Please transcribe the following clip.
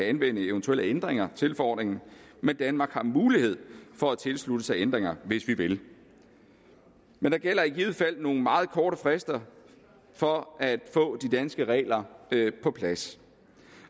anvende eventuelle ændringer til forordningen men danmark har mulighed for at tilslutte sig ændringer hvis vi vil men der gælder i givet fald nogle meget korte frister for at få de danske regler på plads